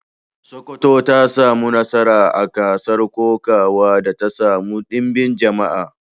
Sokoto ta samu nasara a gasar kokawa da ta samu ɗimbin jama'a.